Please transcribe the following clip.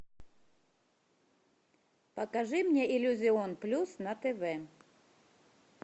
покажи мне иллюзион плюс на тв